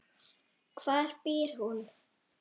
Hvar býr hún?